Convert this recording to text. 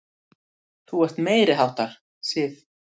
Þú ert meiriháttar, Sif!